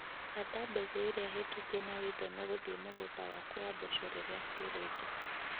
Handa mbegũ iria hetũkie na wĩtheme gũthie mũgũnda waku wa mboco rĩrĩa kuurĩte.